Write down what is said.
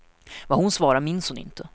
Vad hon svarade minns hon inte.